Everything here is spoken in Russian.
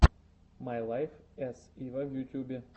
май лайф эс ива в ютьюбе